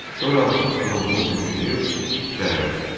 Sonra Atos qılıncını qurşayıb şəhərə çıxdı.